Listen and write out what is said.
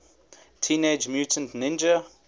teenage mutant ninja